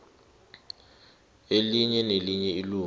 elinye nelinye ilunga